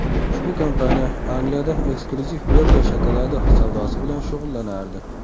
Ushbu kompaniya Angliyada eksklyuziv Belgiya shokoladi savdosi bilan shug‘ullanardi.